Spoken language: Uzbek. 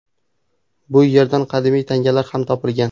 Bu erdan qadimiy tangalar ham topilgan.